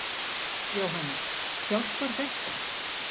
Jóhannes: Hjálpar þetta?